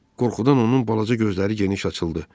Qorxudan onun balaca gözləri geniş açıldı.